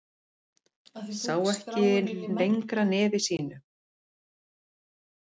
Sá ekki lengra nefi sínu.